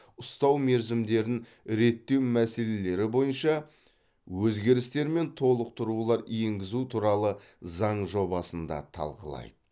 ұстау мерзімдерін реттеу мәселелері бойынша өзгерістер мен толықтырулар енгізу туралы заң жобасын да талқылайды